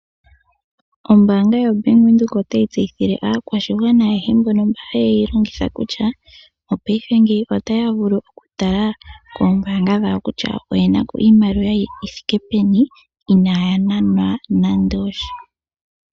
Ombanga yaVenduka otayi tseyithile aakwashigwana ayeshe mboka haye yilongitha kutya mopaife ngino otaya vulu okutala koombanga dhawo kutya oyenako iimaliwa yithike peni inaya nanwa nande osha.